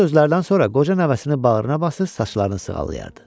Bu sözlərdən sonra qoca nəvəsini bağrına basıb saçlarını sığallayırdı.